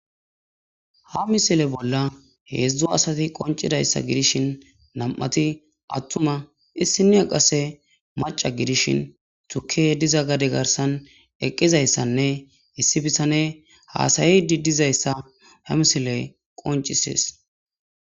Ha misile bola hezzu asati qoncizayssa vidishin nam'tti atuma isiniya qassi macca gidishin tukey dizza gade garssan eqizayssane issi bitaney hassayidi dizayssa ha misily aoncisees.